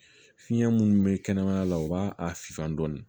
Fiɲɛ minnu be kɛnɛmaya la u b'a a finfa dɔɔni